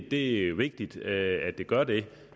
det er jo vigtigt at det gør det